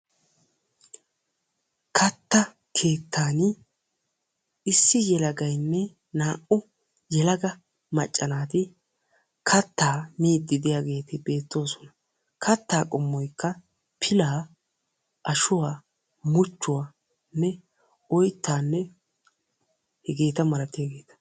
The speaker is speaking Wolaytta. Katta keettan issi yelagaynne naa"u yelaga macca naati kattaa miidi diyaageeti beettoosona; kattaa qommoykka pila, ashshuwa , muchchuwanne oyttanne hegeta malatiyaageeta.